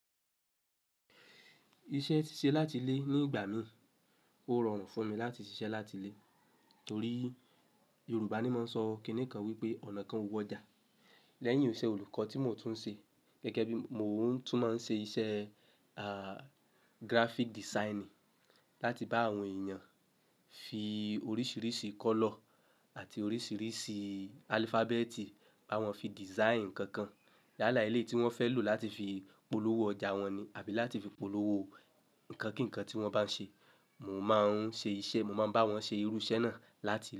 Iṣẹ́ ṣíṣe láti ilé ní ìgbà mi, ó rọrùn fún mi láti ṣiṣẹ́ láti ilé torí Yorùbá ní máa ń sọ kíni kan wípé ọ̀nà kan o wo ọjà. Lẹ́yìn iṣẹ́ olùkọ́ tí mò ń tún ṣe, gẹ́gẹ́ bí mò tún máa ń ṣe iṣẹ́ aah graphic design láti bá àwọn èèyàn fi oríṣiríṣi color àti oríṣiríṣi alphabet bá wọn fi design ǹkan kan yala eleyi tí wọ́n fẹ́ lò láti fi polówó ọjà wọn ni àbí láti fi polówó ǹkan kíǹkan tí wọ́n bá ń ṣe. Mò máa ń ṣe iṣẹ́, mò máa ń bá wọn ṣe irú iṣẹ́ náà láti ilé.